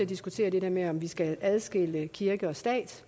diskutere det der med om vi skal adskille kirke og stat